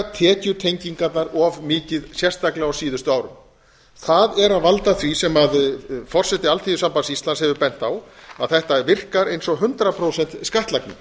tekjutengingarnar of mikið sérstaklega á síðustu árum það er að valda því sem forseti alþýðusambands íslands hefur bent á að þetta virkar eins og hundrað prósent skattlagning